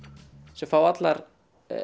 sem fá allar